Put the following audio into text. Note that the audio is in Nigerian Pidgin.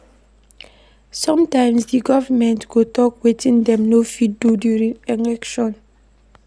Sometimes di government go talk wetin dem no fit do during election